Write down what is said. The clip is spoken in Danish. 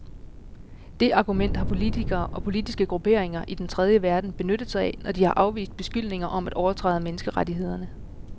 Det argument har politikere og politiske grupperinger i den tredje verden benyttet sig af, når de har afvist beskyldninger om at overtræde menneskerettighederne.